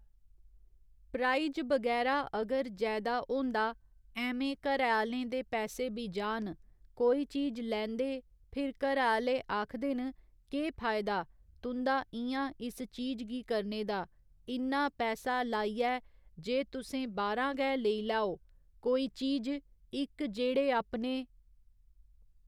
price बगैरा अगर जैदा होंदा ऐह्में घरै आहलें दे पैसै बी जाह्न कोई चीज लैंदे फिर घरै आहले आखदे न केह् फायदा तु'दां इ'यां इस चीज गी करने दा इन्ना पैसा लाइयै जे तुसें बाह्‌रा गै लेई लैओ कोई चीज इक जैहडे आपने